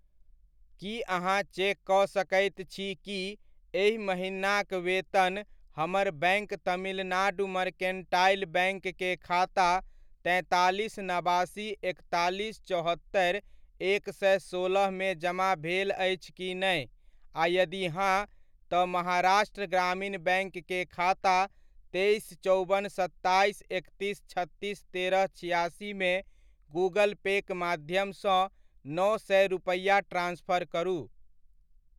की अहाँ चेक कऽ सकैत छी कि एहि महिनाक वेतन हमर बैङ्क तमिलनाड मर्केंटाइल बैङ्क के खाता तैंतालीस नबासी एकतालीस चौहत्तरि एक सए सोलहमे जमा भेल अछि की नहि, आ यदि हाँ, तऽ महाराष्ट्र ग्रामीण बैङ्क के खाता तेइस चौबन सत्ताइस एकतीस छत्तीस तेरह छिआसी मे गूगल पे'क माध्यम सँ नओ सए रुपैआ ट्रान्सफर करू ?